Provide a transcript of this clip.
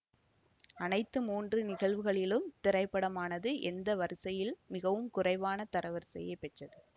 அனைத்து மூன்று நிகழ்வுகளிலும் திரைப்படமானது எந்த வரிசையில் மிகவும் குறைவான தரவரிசையைப் பெற்றது